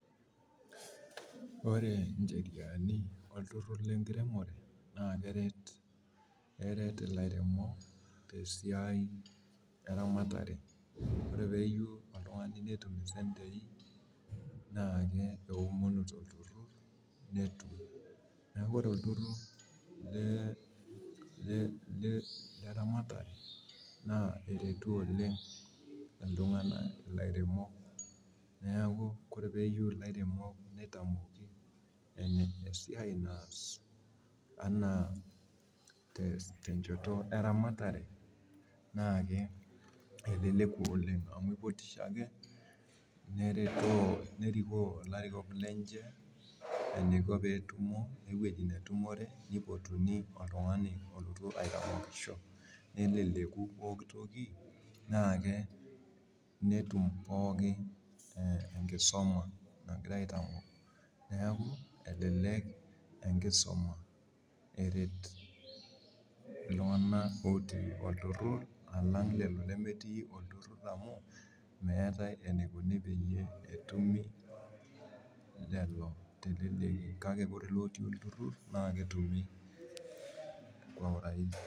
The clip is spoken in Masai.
Ore incheriani olturrur le nkiremore naa keret, eret ilairemok tesiai e ramatare. Ore peeyieu oltung'ani netum isentei naaki eomonu tolturrur netum. Neeku ore olturrurr le rematare naa eretu oleng iltung'anak ilairemok. Neeku ore peeyieu ilairemok nitamoki esiai naas enaa tenchoto e ramatare naaki eleleku oleng amu ipotisho ake nerikoo ilarikok lenye iniko peetumo wewueji netumore woltung'ani olotu aiteng'enisho neleleku pooki toki, netum pookin enkisuma nagirae aitamok. Neeku elelek enkisoma eret iltung'anak ootii olturrurr alang lelo lemetii olturrurr amu meetae enikuni peyie etumi lelo teleleki. Kake ore lelo otii olturrurr naa ketumi kwa urahisi